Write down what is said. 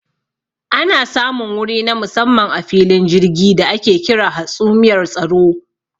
Ana samun wuri na musamman a filin jirgi da ake kira hatsumiyar tsaro.